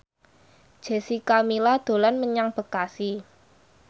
Jessica Milla dolan menyang Bekasi